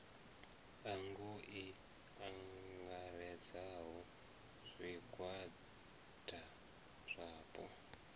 ango i angaredzaho zwigwada zwapo